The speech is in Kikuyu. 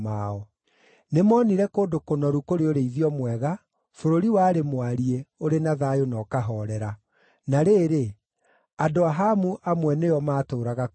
Nĩmoonire kũndũ kũnoru kũrĩ ũrĩithio mwega, bũrũri warĩ mwariĩ, ũrĩ na thayũ na ũkahoorera. Na rĩrĩ, andũ a Hamu amwe nĩo maatũũraga kuo mbere.